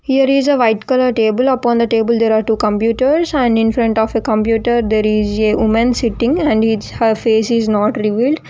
here is a white colour table upon the table there are two computers and infront of a computer there is a woman sitting and is her face is not revealed.